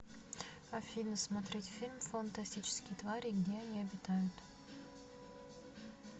афина смотреть фильм фантастические твари и где они обитают